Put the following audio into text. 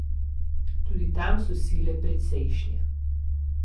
Tudi tam so sile precejšnje.